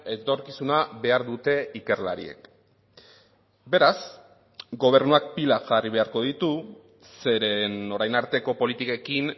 etorkizuna behar dute ikerlariek beraz gobernuak pilak jarri beharko ditu zeren orain arteko politikekin